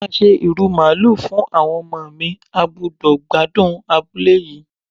Mo máa se ìrù Màálù fún àwọn ọmọ mi, a gbúdọ̀ gbádùn abúlé yìí.